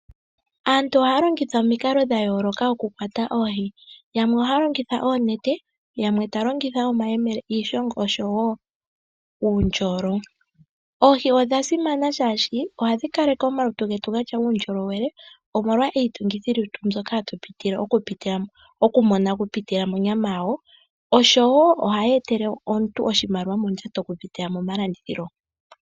Aantunohaya longitha omikalo dha yooloka moku kwatwa oohi. Yamwe ohaya longitha oonete, yamwe taya longitha omayemele, iishongo oshowo uundjolo. Oohi odha simana shaashi ohadhi kaleke omalutu getu gatya uundjolowele omolwa iitungithilutu mbyoka hayi pitile monyama yawo, oshowo ohashi etele omuntu oshimaliwa oku pitila momalandithilo.